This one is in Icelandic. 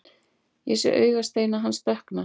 Ég sé augasteina hans dökkna.